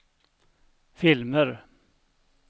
filmer